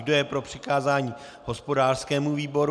Kdo je pro přikázání hospodářskému výboru?